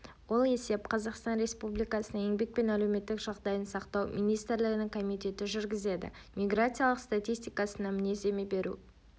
ол есеп қазақстан республикасының еңбек пен әлеуметтік жағдайын сақтау министрлігінің комитеті жүргізеді миграциялық статистикасына мінездеме беру